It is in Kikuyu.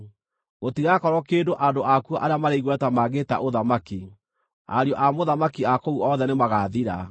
Gũtigakorwo kĩndũ andũ akuo arĩa marĩ igweta mangĩĩta ũthamaki, ariũ a mũthamaki a kũu othe nĩmagathira.